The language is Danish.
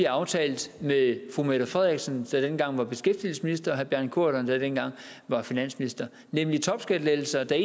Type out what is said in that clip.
aftalt med fru mette frederiksen der dengang var beskæftigelsesminister og herre bjarne corydon der dengang var finansminister nemlig topskattelettelser der